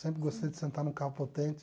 Sempre gostei de sentar num carro potente.